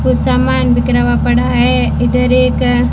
कुछ सामान बिखरा हुआ पड़ा है इधर एक--